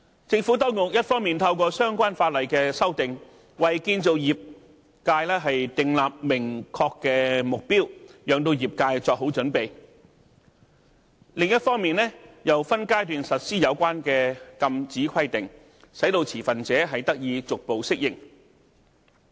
政府當局一方面透過相關法例的修訂，為建造業界訂立明確目標，讓業界作好準備，另一方面，又分階段實施有關的禁止規定，使持份者得以逐步適應。